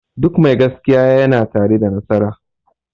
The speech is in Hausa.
Duk mai gaskiya ya na tare da nasara